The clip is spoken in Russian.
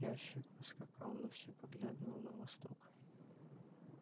ящик поскакал но всё поглядывал на восток